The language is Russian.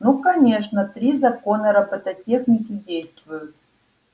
ну конечно три закона робототехники действуют